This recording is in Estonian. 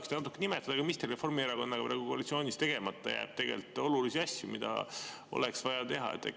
Kas te saaksite nimetada, mis teil Reformierakonnaga praegu koalitsioonis olles tegemata jääb, aga mis on olulised asjad, mida oleks vaja teha?